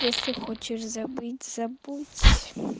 если хочешь забыть забудь